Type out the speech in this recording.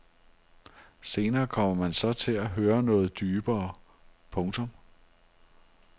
Senere kommer man så til at høre noget dybere. punktum